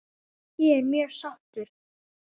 Ég er mjög sáttur.